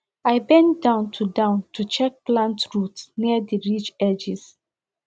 i bend down to down to check plant roots near the ridge edges